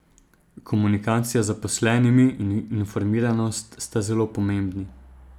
Komunikacija z zaposlenimi in informiranost sta zelo pomembni.